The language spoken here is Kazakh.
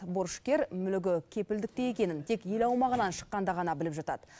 борышкер мүлігі кепілдікте екенін тек ел аумағынан шыққанда ғана біліп жатады